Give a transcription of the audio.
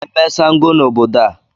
Taa bụ ememme Ṣàngó n'obodo a.